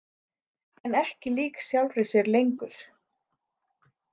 En ekki lík sjálfri sér lengur.